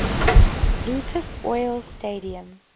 lucas oil stadium